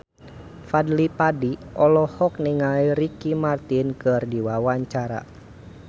Fadly Padi olohok ningali Ricky Martin keur diwawancara